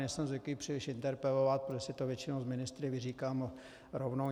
Nejsem zvyklý příliš interpelovat, protože si to většinou s ministry vyříkám rovnou.